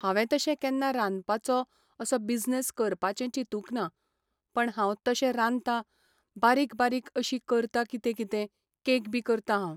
हांवें तशें केन्ना रांदपाचो असो बिझनेस करपाचें चिंतूंक ना पण हांव तशें रांदतां, बारीक बारीक अशी करता कितें कितें, कॅक बी करतां हांव.